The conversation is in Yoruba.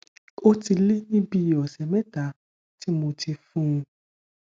ó ti lé ní bi ọsẹ mẹta tí mo ti fún un